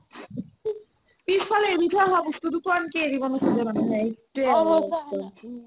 পিছ ফালে এৰি থই আহা বস্তুটো একদম এৰিব নোখোজে মানুহে